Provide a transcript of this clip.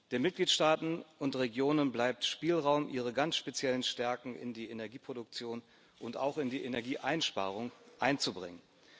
Den Mitgliedstaaten und Regionen bleibt Spielraum, ihre ganz speziellen Stärken in die Energieproduktion und auch in die Energieeinsparung einzubringen.